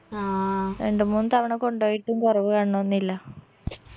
രണ്ട് മൂന്ന് തവണ കൊണ്ട് പോയിട്ടും കൊറവ് കാണുണൊന്നില്ല